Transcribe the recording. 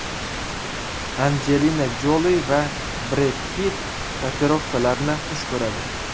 Anjelina Joli va Bred Pitt tatuirovkalarni xush ko‘radi.